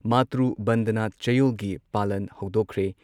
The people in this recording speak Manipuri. ꯃꯥꯇ꯭ꯔꯨ ꯕꯟꯗꯅꯥ ꯆꯌꯣꯜꯒꯤ ꯄꯥꯂꯟ ꯍꯧꯗꯣꯛꯈ꯭ꯔꯦ꯫